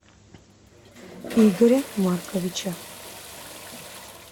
игоря марковича